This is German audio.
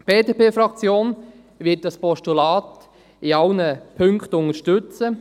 Die BDP-Fraktion wird dieses Postulat in allen Punkten unterstützen.